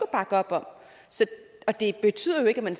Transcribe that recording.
bakke op om og det betyder jo ikke at